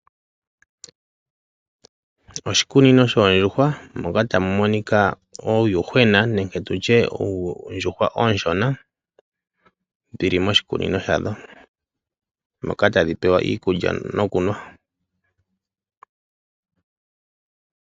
Oshikuku shoondjuhwa moka muna uuyuhwena tawu nu omeya nosho woo tawuli iikulya.